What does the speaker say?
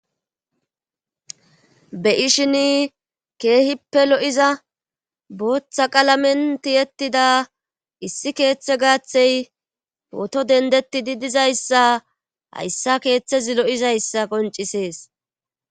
be ishin keehippe lo7iza booththa qalamen tiyettida issi keeththe gaathey pooto dendetti di dizayssa hayssa keeththezi lo7izayssa qoncisees